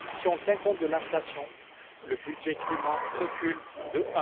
Si l'on tient compte de l'inflation, le budget climat recule de